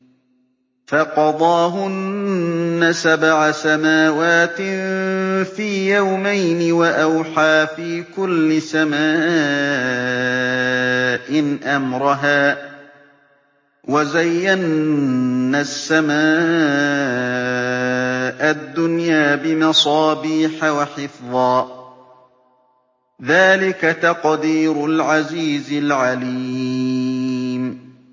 فَقَضَاهُنَّ سَبْعَ سَمَاوَاتٍ فِي يَوْمَيْنِ وَأَوْحَىٰ فِي كُلِّ سَمَاءٍ أَمْرَهَا ۚ وَزَيَّنَّا السَّمَاءَ الدُّنْيَا بِمَصَابِيحَ وَحِفْظًا ۚ ذَٰلِكَ تَقْدِيرُ الْعَزِيزِ الْعَلِيمِ